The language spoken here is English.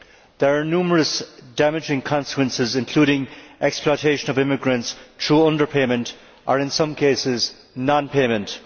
There are numerous damaging consequences, including the exploitation of immigrants through underpayment or, in some cases, non payment.